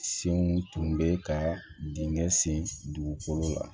Senw tun bɛ ka dingɛ sen dugukolo la